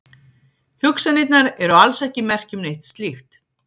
Hugsanirnar eru alls ekki merki um neitt slíkt.